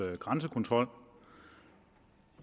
grænsekontrol